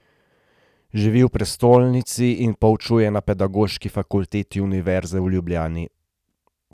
Živi v prestolnici in poučuje na Pedagoški fakulteti Univerze v Ljubljani.